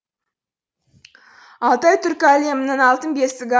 алтай түркі әлемінің алтын бесігі